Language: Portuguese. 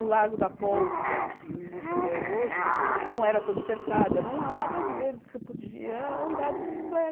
O Lago da Pólvora, que existe até hoje, não era todo cercado, eram áreas verdes que você podia andar de